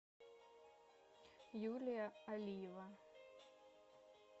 юлия алиева